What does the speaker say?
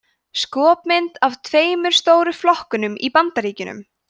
skopmynd af tveimur stóru flokkunum í bandaríkjunum